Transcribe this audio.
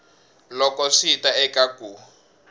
loko swi ta eka ku